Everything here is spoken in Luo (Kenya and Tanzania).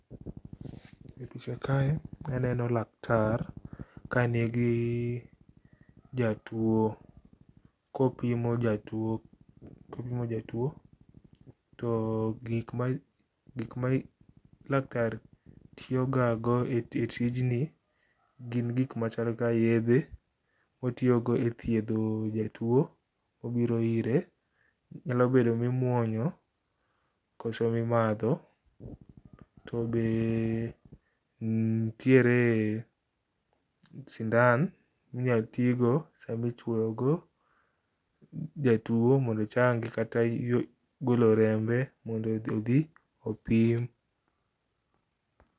E picha kae aneno laktar kanigi jatuo. kopimo jatuo ,opimo jatuo to gikma laktar tiyo ga go e tijni gin gik machal ka yedhe motiyo go e thiedho jatuo mobiro ire, nyalo bedo mimuonyo koso mimadho. To be nitiere sindan minyal tigo sama ichuoyo go jatuo mondo ochangi kata golo rembe mondo odhi opim